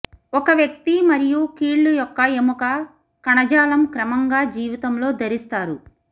ఒక వ్యక్తి మరియు కీళ్ళు యొక్క ఎముక కణజాలం క్రమంగా జీవితంలో ధరిస్తారు